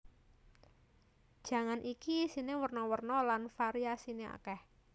Jangan iki isine werna werna lan variasine akeh